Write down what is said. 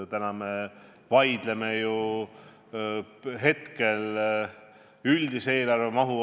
Me vaidleme ju hetkel üldise eelarve mahu üle.